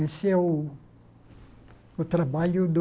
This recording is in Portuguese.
Esse é o o trabalho do...